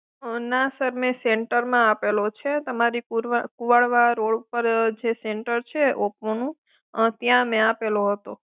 ના સર મેં સેન્ટરમાં આપેલ છે તમારી ગુવારવા રોડ પર તમારું સેન્ટર છે ઓપોનું ત્યાં મેં આપેલો હતો